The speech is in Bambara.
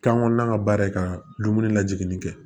Kan kɔnɔn ka baara ye ka dumuni lajigin kɛ